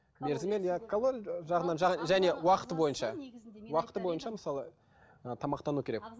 мерзіммен және уақыты бойынша уақыты бойынша мысалы ы тамақтану керек